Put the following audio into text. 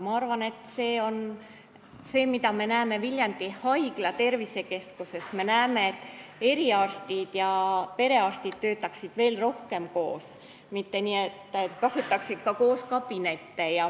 Ma arvan, et Viljandi Haigla tervisekeskuse puhul me näeme, et eriarstid ja perearstid peaksid töötama veel rohkem koos, kasutaksid ka koos kabinette.